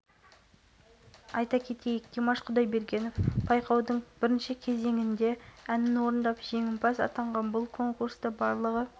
тапты одан кейінгі аралықта артем бурделев иван степаненко константин савенков микхайл рахманов дмитрий гренц ярослав